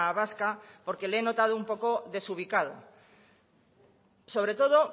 vasca porque le he notado un poco desubicado sobre todo